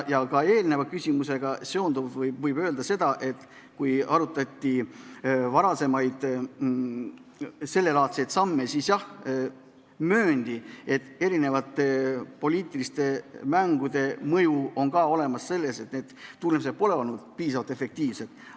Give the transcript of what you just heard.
Ja ka eelmise küsimusega seonduvalt võib öelda, et kui sellelaadseid varasemaid samme arutati, siis mööndi, et poliitiliste mängude mõjul ei ole tulemused olnud piisavalt efektiivsed.